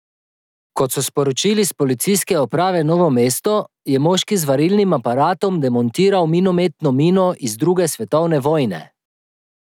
Kot so sporočili s Policijske uprave Novo mesto, je moški z varilnim aparatom demontiral minometno mino iz druge svetovne vojne.